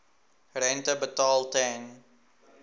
rente betaal ten